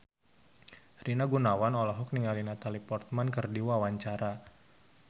Rina Gunawan olohok ningali Natalie Portman keur diwawancara